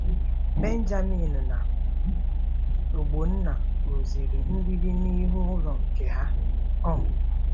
Benjamin na Ogbonna rụziri mgbidi n'ihu ụlọ nke ha. um